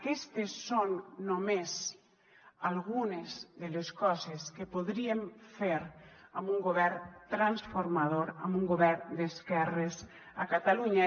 aquestes són només algunes de les coses que podríem fer amb un govern transformador amb un govern d’esquerres a catalunya